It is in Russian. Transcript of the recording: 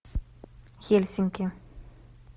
хельсинки